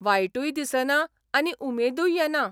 वायटूय दिसना आनी उमेदूय येना.